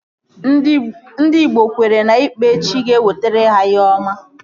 Ndị igbo kweere na ikpere chi ga-ewetara ha ihe ọma